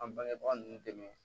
An bangebaga ninnu dɛmɛ